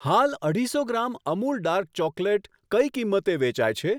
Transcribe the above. હાલ અઢીસો gram Amul dark chocolate કઈ કિંમતે વેચાય છે?